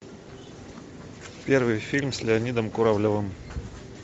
первый фильм с леонидом куравлевым